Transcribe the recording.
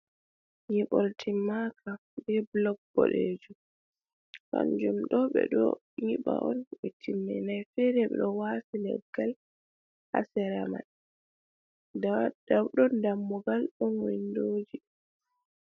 Nyiɓol timmaka be blok boɗejum. Kanjum ɗo ɓe ɗo nyiɓa on ɓe timminai fere ɓeɗo wafi leggal ha sera mai. Nda ɗo wodi dammugal ɗon windoji.